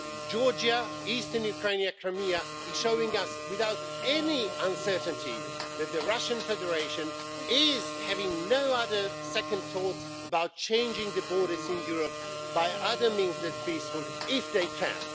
Georgia, eastern Ukraine and Crimea are showing us without any uncertainty that the Russian Federation is having no second thoughts about changing the borders in Europe by other means than peaceful if they can.